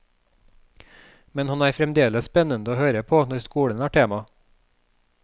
Men han er fremdeles spennende å høre på når skolen er tema.